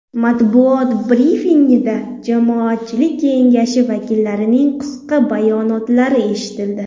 Matbuot brifingida Jamoatchilik kengashi vakillarining qisqa bayonotlari eshitildi.